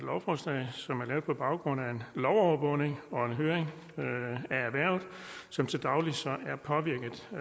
lovforslag som er lavet på baggrund af en lovovervågning og en høring af erhvervet som til daglig er påvirket af